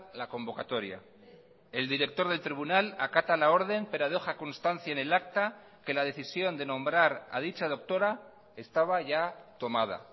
la convocatoria el director del tribunal acata la orden pero deja constancia en el acta que la decisión de nombrar a dicha doctora estaba ya tomada